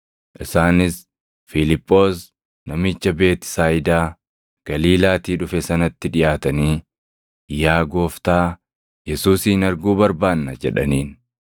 Isaanis Fiiliphoos namicha Beetisayidaa Galiilaatii dhufe sanatti dhiʼaatanii, “Yaa gooftaa, Yesuusin arguu barbaanna” jedhaniin.